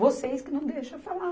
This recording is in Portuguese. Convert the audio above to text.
Vocês que não deixam eu falar.